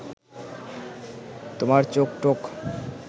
তোমার চোখ-টোখ